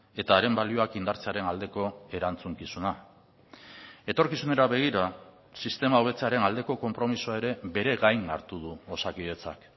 eta haren balioak indartzearen aldeko erantzukizuna etorkizunera begira sistema hobetzearen aldeko konpromisoa ere bere gain hartu du osakidetzak